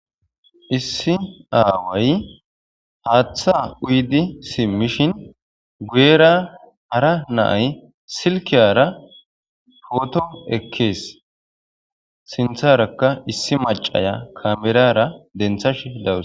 Issi aaway haaththa uydi simmishin guyera hara naay silkiyara poto ekees sintharakka issi macaya kamerara denthash dawurs.